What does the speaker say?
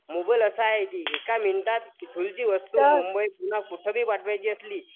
mobile असा आहे की एका मिनिटात ईथुनची वस्तू मुंबई पुन्हा कुठे जरी पाठवायची असली